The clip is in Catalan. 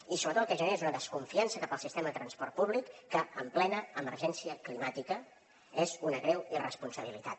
i sobretot el que genera és una desconfiança cap al sistema de transport públic que en plena emergència climàtica és una greu irresponsabilitat